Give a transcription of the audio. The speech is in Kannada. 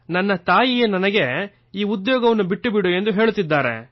ನನ್ನ ತಾಯಿಯೇ ನನಗೆ ಈ ಉದ್ಯೋಗವನ್ನು ಬಿಟ್ಟುಬಿಡು ಎಂದು ಹೇಳುತ್ತಿದ್ದಾರೆ